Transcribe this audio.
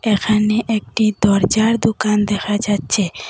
এখানে একটি দরজার দোকান দেখা যাচ্ছে।